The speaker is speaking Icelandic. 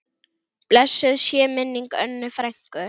Blessuð sé minning Önnu frænku.